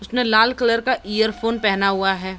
इसने लाल कलर का इयरफोन पहना हुआ है।